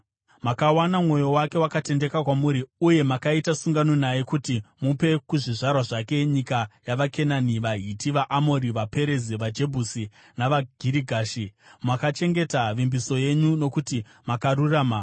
Makawana mwoyo wake wakatendeka kwamuri, uye makaita sungano naye kuti mupe kuzvizvarwa zvake nyika yavaKenani, vaHiti, vaAmori, vaPerezi, vaJebhusi navaGirigashi. Makachengeta vimbiso yenyu nokuti makarurama.